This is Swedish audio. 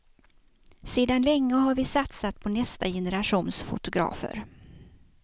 Sedan länge har vi satsat på nästa generations fotografer.